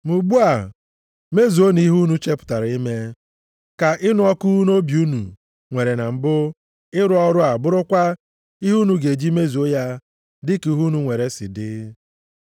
Ma ugbu a mezuonụ ihe unu chepụtara ime. Ka ịnụ ọkụ nʼobi unu nwere na mbụ ịrụ ọrụ a bụrụkwa ihe unu ga-eji mezuo ya dịka ihe unu nwere si dị.